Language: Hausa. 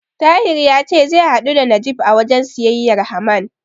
Tahir ya ce zai hadu da Najeeb a wajen siyayyar Haman.